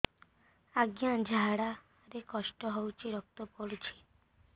ଅଜ୍ଞା ଝାଡା ରେ କଷ୍ଟ ହଉଚି ରକ୍ତ ପଡୁଛି